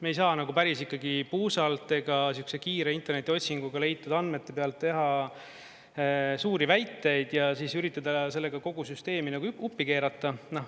Me ei saa nagu päris ikkagi puusalt ega sihukese kiire internetiotsinguga leitud andmete pealt teha suuri väiteid ja üritada sellega kogu süsteemi nagu uppi keerata.